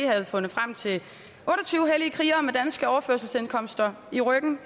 havde fundet frem til otte og tyve hellige krigere med danske overførselsindkomster i ryggen